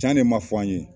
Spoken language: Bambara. Can ne ma fɔ an ye